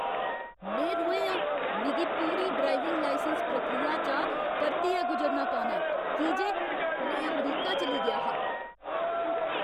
में रोहें आं । मिगी पूरी ड्राइविंग लाइसैंस प्रक्रिया चा परतियै गुजरना पौना ऐ की जे में अमरीका चली गेआ हा।